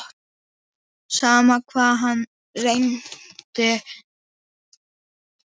Sama hvað hann reyndi.